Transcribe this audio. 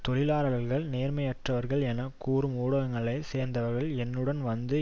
தொழிலாளர்கள் நேர்மையற்றவர்கள் என கூறும் ஊடகங்களை சேர்ந்தவர்கள் என்னுடன் வந்து